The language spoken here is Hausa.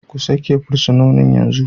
Ku sake fursunonin yanzu!